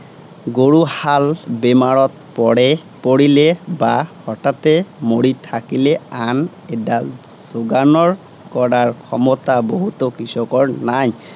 গৰুহাল বেমাৰত পৰে, পৰিলে বা হঠাতে মৰি থাকিলে, আন এডাল যােগানৰ কৰাৰ ক্ষমতা বহুতাে কৃষকৰ নাই।